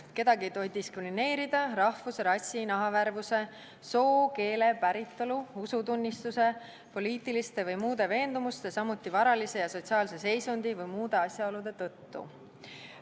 Kedagi ei tohi diskrimineerida rahvuse, rassi, nahavärvuse, soo, keele, päritolu, usutunnistuse, poliitiliste või muude veendumuste, samuti varalise ja sotsiaalse seisundi või muude asjaolude tõttu.